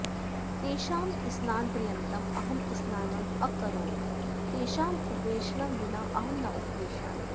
तेषां स्नानपर्यन्तम् अहम् स्नानं अ करोमि तेषाम् उपवेशनं विना अहं न उपविशामि